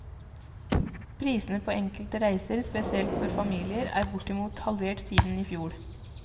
Prisene på enkelte reiser, spesielt for familier, er bortimot halvert siden i fjor.